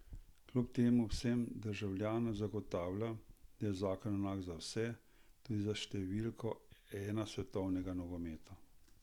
Kljub temu vsem državljanom zagotavlja, da je zakon enak za vse, tudi za številko ena svetovnega nogometa.